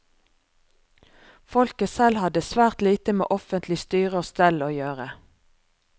Folket selv hadde svært lite med offentlig styre og stell å gjøre.